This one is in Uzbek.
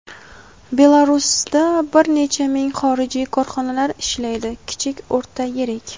Belarusda bir necha ming xorijiy korxonalar ishlaydi – kichik, o‘rta, yirik.